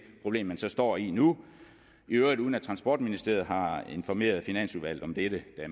problem man så står i nu i øvrigt uden at transportministeriet har informeret finansudvalget om dette da